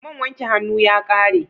Man wanke hannu ya ƙare.